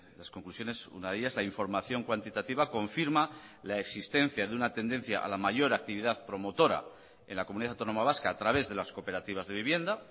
las conclusiones una de ellas la información cuantitativa confirma la existencia de una tendencia a la mayor actividad promotora en la comunidad autónoma vasca a través de las cooperativas de vivienda